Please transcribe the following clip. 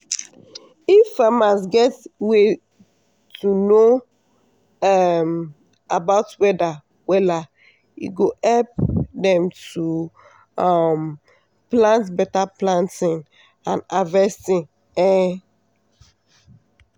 if farmers get way to know um about weather wella e go help dem to um plan beta planting and harvesting. um